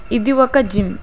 ఇది ఒక జిమ్ .